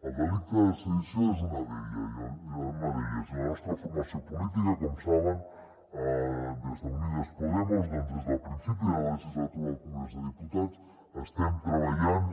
el delicte de sedició és una d’elles i la nostra formació política com saben des d’unidas podemos doncs des del principi de la legislatura al congrés dels diputats estem treballant